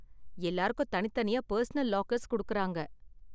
எல்லாருக்கும் தனித்தனியா personal lockers கொடுக்கறாங்க.